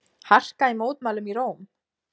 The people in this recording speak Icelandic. Harka í mótmælum í Róm